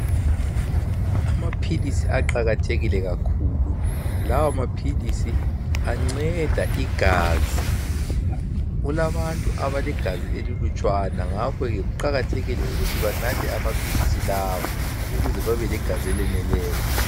Amaphilisi aqakathekile kakhulu lawo maphilisi anceda igazi kulabantu abalegazi elilutshwana ngakho ke kuqakathekile ukuthi banathe amaphilisi lawa ukuze babe legazi eleneleyo.